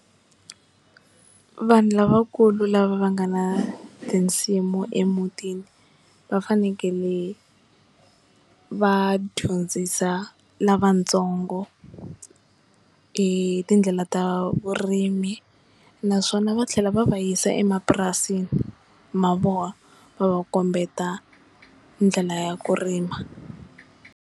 Vanhu lavakulu lava va nga na tinsimu emutini va fanekele va dyondzisa lavatsongo hi tindlela ta vurimi naswona va tlhela va va yisa emapurasini ma vona va va kombeta ndlela ya ku rima.